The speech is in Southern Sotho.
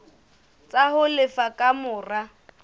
tsa ho lefa ka mora